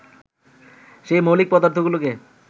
সেই মৌলিক পদার্থগুলোকে